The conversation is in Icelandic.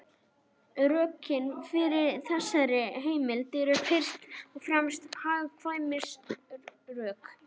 Rökin fyrir þessari heimild eru fyrst og fremst hagkvæmnisrök.